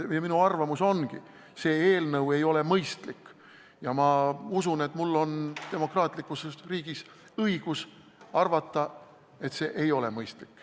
Minu arvamus ongi selline, et see eelnõu ei ole mõistlik, ja ma usun, et mul on demokraatlikus riigis õigus arvata, et see eelnõu ei ole mõistlik.